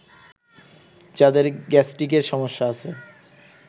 যাদের গ্যাস্ট্রিকের সমস্যা আছে